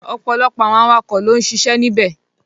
Ọ̀pọ̀lọpọ̀ àwọn awakọ̀ ló ń siṣẹ́ níbẹ̀.